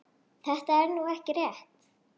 Þetta er nú ekki rétt.